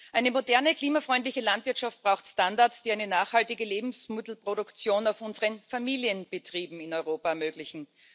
Eine moderne, klimafreundliche Landwirtschaft braucht Standards, die eine nachhaltige Lebensmittelproduktion auf unseren Familienbetrieben in Europa ermöglichen.